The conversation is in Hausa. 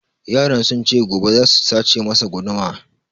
Yaran sun ce gobe za su sace masa guduma